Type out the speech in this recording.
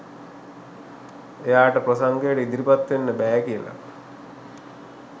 එයාට ප්‍රසංගයට ඉදිරිපත් වෙන්න බැහැ කියලා